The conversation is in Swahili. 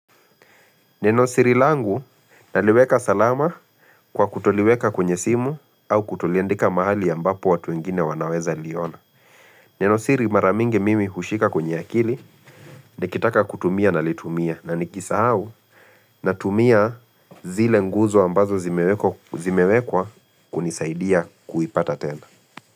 Neno siri langu naliweka salama kwa kutoliweka kwenye simu au kutoliandika mahali ambapo watu wengine wanaweza liona. Neno siri maramingi mimi hushika kwenye akili nikitaka kutumia na litumia na nikisahau na tumia zile nguzo ambazo zimewekwa zimewekwa kunisaidia kuipata tena.